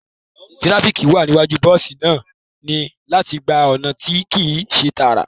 Tirafiki wa niwaju, bosi naa ni lati gba ọna ti kii ṣe taara